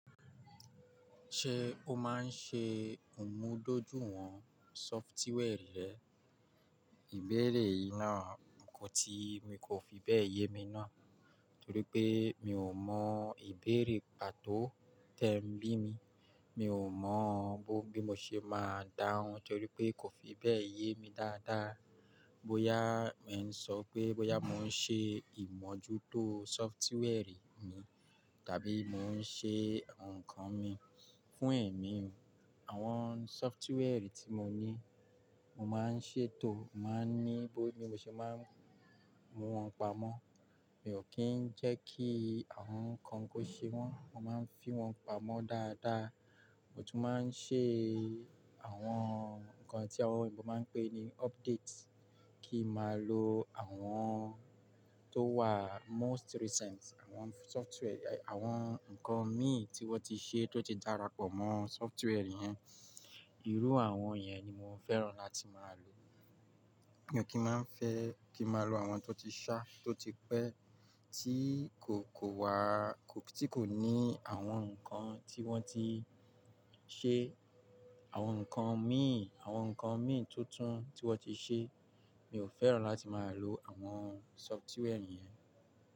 Ṣé ó máa ń ṣe ìmúdójúìwọ̀n sọfitiwẹẹ̀rì rẹ? Ìbéèrè yìí náà kò ti mi kò fi bẹ́ẹ̀ yé mi náà, torí pé mi ò mọ ìbéèrè pàtó tẹ́ ń bí mi. Mi ò mọ bó bí mo ṣe máa dáhùn torí pé kò fi bẹ́ẹ̀ yé mi dáadáa. Bóyá ẹ̀ ń sọ pé bóyá mò ń ṣe ìmọ́jútó sọfitiwẹẹ̀rì mi, tàbí mò ń ṣe ǹkan mi fún ẹ̀mí. Àwọn sọfitiwẹẹ̀rì tí mo ní, mo máa ń ṣètò, màá ní bó bí mo ṣe máa ń mú wọn pamọ́. Mi ò kí ń jẹ́ kí àwọn ǹkan kó ṣe wọ́n, mo máa ń fi wọn pamọ́ dáadáa. Mo tún máa ń ṣe àwọn ǹkan tí àwọn ènìyàn bá máa ń pè ní update kí máa lo àwọn tó wà most recent. Àwọn sọfitiwẹẹ̀rì, àwọn ǹkan mí tí wọ́n ti ṣe tó ti darapọ̀ mọ́ sọfitiwẹẹ̀rì yẹn. Irú àwọn yẹn ni mo fẹ́ràn láti máa lò. Mi ò kí máa ń fẹ́ kí máa lo àwọn tó ti ṣá, tó ti pẹ́, tí kò, kò wà, kò, tí kò ní àwọn ǹkan tí wọ́n ti ṣe, àwọn ǹkan míǹ, àwọn ǹkan míǹ tuntun tí wọ́n ti ṣe. Mi ò fẹ́ràn láti máa lò àwọn sọfitiwẹẹ̀rì yẹn.